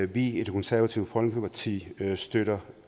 vi i det konservative folkeparti støtter